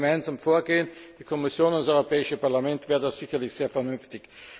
Denn wenn wir gemeinsam vorgehen die Kommission und das Europäische Parlament wäre das sicherlich sehr vernünftig.